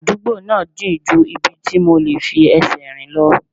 Àdúgbò náà jìn ju ibi tí mo lè fi ẹsẹ̀ rìn lọ